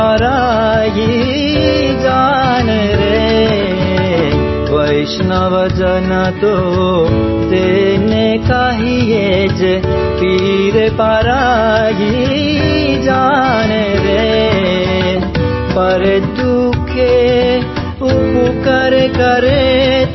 పాట